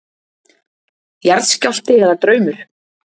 Jarðskjálfti eða draumur?